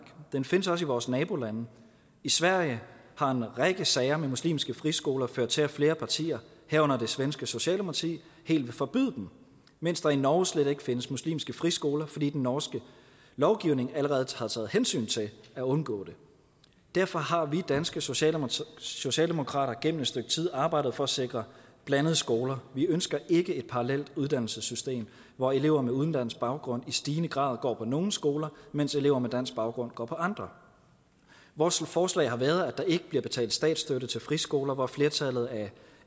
den findes også i vores nabolande i sverige har en række sager med muslimske friskoler ført til at flere partier herunder det svenske socialdemokrati helt vil forbyde dem mens der i norge slet ikke findes muslimske friskoler fordi den norske lovgivning allerede har taget hensyn til at undgå det derfor har vi danske socialdemokrater socialdemokrater gennem et stykke tid arbejdet for at sikre blandede skoler vi ønsker ikke parallelle uddannelsessystemer hvor elever med udenlandsk baggrund i stigende grad går på nogle skoler mens elever med dansk baggrund går på andre vores forslag har været at der ikke bliver betalt statsstøtte til friskoler hvor flertallet af